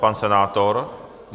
Pan senátor?